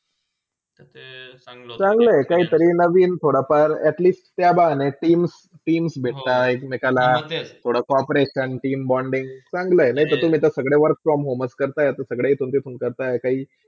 ते चांगला होता काहीतरी नवीन थोडा फार at least त्याबहाण्शी teams teams भेटा एक- मेकांला आणि थोडा co -operation, team bonding चंगले आहे नायतेते तुम्ही सगळे work from होमच करताय सगळे आणि आता सगळेच तुमचेही करता